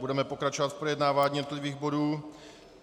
Budeme pokračovat v projednávání jednotlivých bodů.